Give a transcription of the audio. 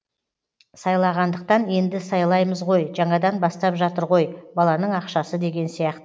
сайлағандықтан енді сайлаймыз ғой жаңадан бастап жатыр ғой баланың ақшасы деген сияқты